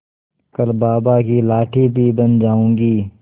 कल बाबा की लाठी भी बन जाऊंगी